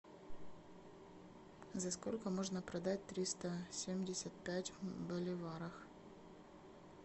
за сколько можно продать триста семьдесят пять боливарах